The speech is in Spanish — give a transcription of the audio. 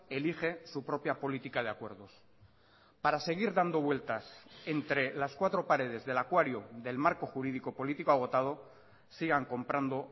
elige su propia política de acuerdos para seguir dando vueltas entre las cuatro paredes del acuario del marco jurídico político agotado sigan comprando